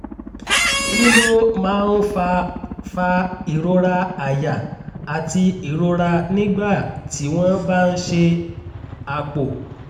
kí ló máa ń fa fa ìrora àyà àti ìrora nígbà tí wọ́n bá ń ṣe àpò?